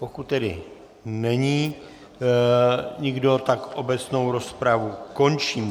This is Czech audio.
Pokud tedy není nikdo, tak obecnou rozpravu končím.